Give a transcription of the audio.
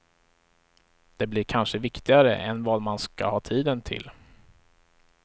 Det blir kanske viktigare än vad man ska ha tiden till.